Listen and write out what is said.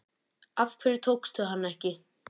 Af hverju tókstu hana ekki?